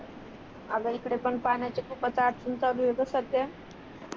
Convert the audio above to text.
आग इकडे पण पाण्याची खूपच अडचण चालू आहे ग सद्या